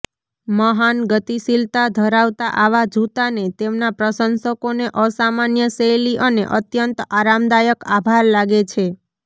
મહાન ગતિશીલતા ધરાવતા આવા જૂતાને તેમના પ્રશંસકોને અસામાન્ય શૈલી અને અત્યંત આરામદાયક આભાર લાગે છે